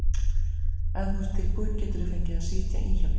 Ef þú ert tilbúin geturðu fengið að sitja í hjá mér.